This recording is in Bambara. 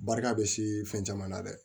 Barika bɛ si fɛn caman na dɛ